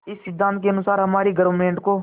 इस सिद्धांत के अनुसार हमारी गवर्नमेंट को